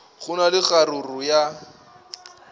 go na le kgaruru ya